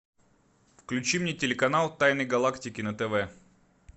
включи мне телеканал тайны галактики на тв